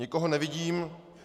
Nikoho nevidím.